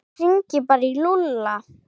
Ég hringi bara í Lúlla.